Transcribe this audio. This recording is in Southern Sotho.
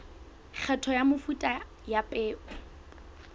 kgetho ya mefuta ya peo